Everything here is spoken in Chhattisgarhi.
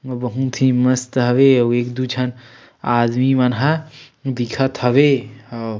बहुत ही मस्त हवे अउ एक दो झन आदमी मन ह दिखत हवे ह ।--